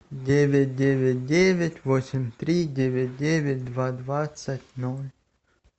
девять девять девять восемь три девять девять два двадцать ноль